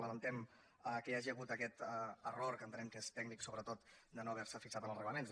lamentem que hi hagi hagut aquest error que en·tenem que és tècnic sobretot de no haver·se fixat en els reglaments